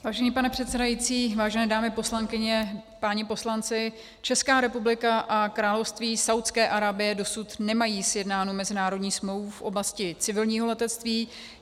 Vážený pane předsedající, vážené dámy poslankyně, páni poslanci, Česká republika a Království Saúdské Arábie dosud nemají sjednánu mezinárodní smlouvu v oblasti civilního letectví.